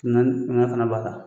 Naani nka fana b'a ta.